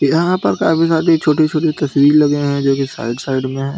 यहां पर काफी सारी छोटी-छोटी तस्वीर लगे हैं जो कि साइड साइड में हैं।